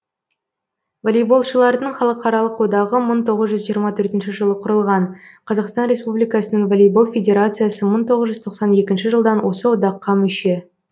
волейболшылардың халықаралық одағы мың тоғыз жүз жиырма төртінші жылы құрылған қазақстан республикасының волейбол федерациясы мың тоғыз жүз тоқсан екінші жылдан осы одаққа мүше